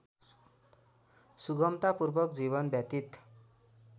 सुगमतापूर्वक जीवन व्यतीत